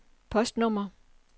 postnummer